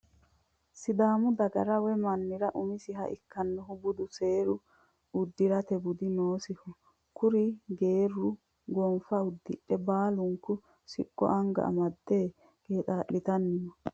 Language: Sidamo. Sidaammu daggara woyi mannira umisiha ikkinohu budu, seeru, uddiratte budi, noosiho kuri geeru gonniffa udidhe baaluniku siqqo aniga amedde qeexalitani noo